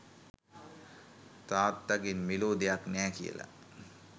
තාත්තගෙන් මෙලෝ දෙයක් නෑ කියලා.